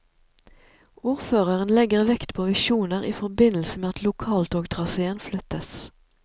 Ordføreren legger vekt på visjoner i forbindelse med at lokaltogtraséen flyttes.